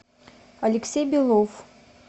алексей белов